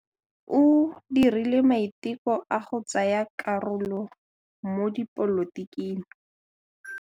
O dirile maitekô a go tsaya karolo mo dipolotiking.